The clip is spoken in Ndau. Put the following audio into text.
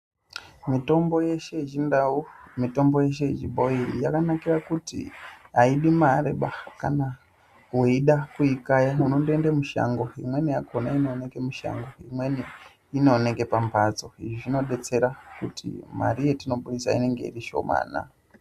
Mitombo yeshe yechindau mitombo yeshe yechibhoyi aidi mariba kana weida kuikaya unondoenda mushango imweni yakona inooneka mushango imweni inooneka pamhatso izvi zvinodetsera kuti mari yetinobudisa inenge iri shoma.